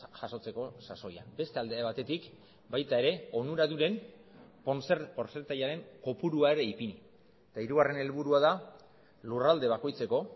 jasotzeko sasoian beste alde batetik baita ere onuradunen portzentaiaren kopurua ere ipini eta hirugarren helburua da lurralde bakoitzeko